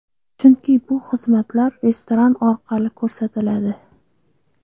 Chunki bu xizmatlar restoran orqali ko‘rsatiladi”.